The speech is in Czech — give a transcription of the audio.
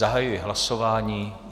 Zahajuji hlasování.